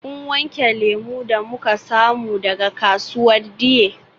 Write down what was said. Kun wanke lemu da muka samu daga kasuwar Dei?